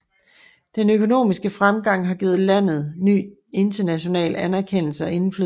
Den økonomiske fremgang har givet landet ny international anerkendelse og indflydelse